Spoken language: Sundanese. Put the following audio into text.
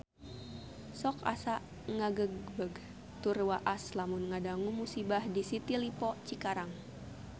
Sok asa ngagebeg tur waas lamun ngadangu musibah di City Lippo Cikarang